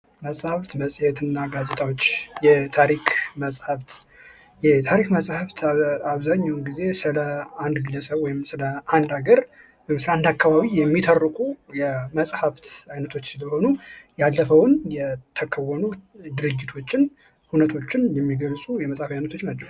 መፅሐፍት መጼት እና ጋዜጣዎች የታሪክ መፅሐፍ፦ የታሪክ መፅሐፍ አብዛኛውን ግዜ ስለ አንድ ግለሰብ ወይም ስለ አንድ ሀገር አካባቢ የሚተርኩ የመፅሐፍት አይነቶች ሲሆኑ ያለፈውን የተከወኑ ድርጊቶችን እውነቶችን የሚገልፁ የመፅሐፍ አይነቶች ናቸው።